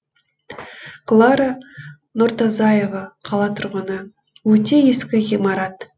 клара нұртазаева қала тұрғыны өте ескі ғимарат